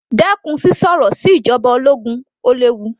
Dẹ́kun sísọ ọ̀rọ̀ lòdì sí ìjoba ológun, ó léwu.